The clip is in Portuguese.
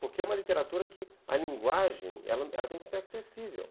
Porque é uma literatura que a linguagem ela ela ela tem que ser acessível.